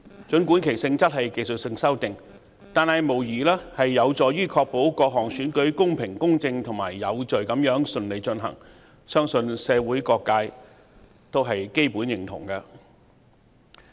儘管其性質屬技術修訂，但無疑有助確保各項選舉公平公正及有序地順利進行，相信社會各界基本上也會認同。